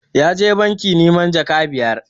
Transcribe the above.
Ya je banki neman jaka biyar